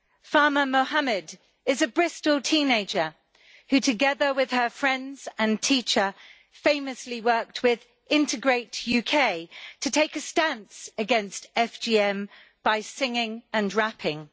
Fahma Mohamed is a Bristol teenager who, together with her friends and teacher, famously worked with Integrate UK to take a stance against FGM by singing and rapping.